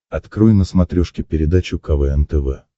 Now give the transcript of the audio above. открой на смотрешке передачу квн тв